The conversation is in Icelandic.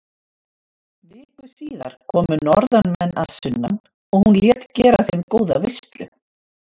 Viku síðar komu norðanmenn að sunnan og hún lét gera þeim góða veislu.